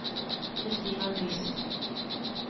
Kristina Nielsen